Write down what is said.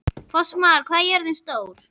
Fossmar, hvað er jörðin stór?